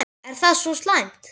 Er það svo slæmt?